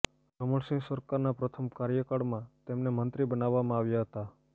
રમણ સિંહ સરકારના પ્રથમ કાર્યકાળમાં તેમને મંત્રી બનાવવામાં આવ્યા હતા